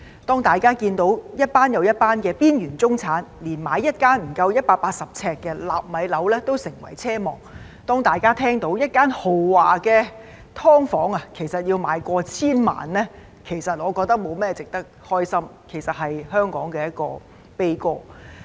當大家看到一群又一群的邊緣中產連買一間不足180平方呎的"納米樓"都成為奢望；當大家聽到一間豪華"劏房"的售價過千萬元，我認為這沒有甚麼值得高興，而是香港的悲歌。